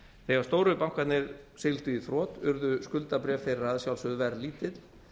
þegar stóru bankarnir sigldu í þrot urðu skuldabréf þeirra að sjálfsögðu verðlítil